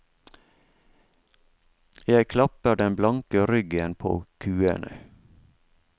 Jeg klapper den blanke ryggen på kuene.